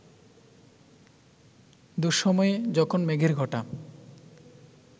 দুঃসময়ে, যখন মেঘের ঘটা